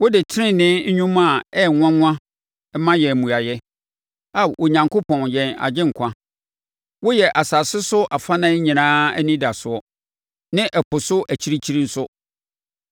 Wode tenenee nnwuma a ɛyɛ nwanwa ma yɛn mmuaeɛ, Ao Onyankopɔn yɛn agyenkwa. Woyɛ asase so afanan nyinaa anidasoɔ ne ɛpo so akyirikyiri nso.